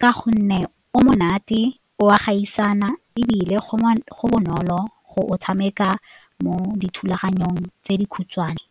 ka gonne o monate o gaisana ebile go bonolo go tshameka mo dithulaganyong tse dikhutshwane.